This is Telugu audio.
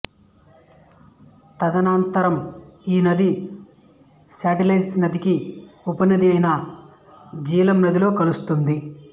తదనంతరం ఈ నది సట్లెజ్ నదికి ఉపనది అయిన జీలం నదిలో కలుస్తుంది